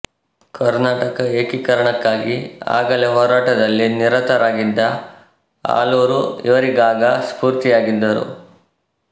ಕರ್ನಾಟಕ ಏಕೀಕರಣಕ್ಕಾಗಿ ಆಗಲೇ ಹೋರಾಟದಲ್ಲಿ ನಿರತರಾಗಿದ್ದ ಆಲೂರು ಇವರಿಗಾಗ ಸ್ಫೂರ್ತಿಯಾಗಿದ್ದರು